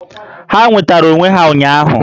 Ha nwetara onwe ha ụnyaahụ